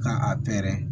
Ka a pɛrɛn